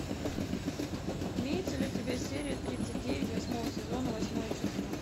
имеется ли у тебя серия тридцать девять восьмого сезона восьмое чувство